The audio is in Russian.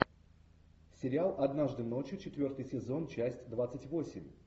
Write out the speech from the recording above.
сериал однажды ночью четвертый сезон часть двадцать восемь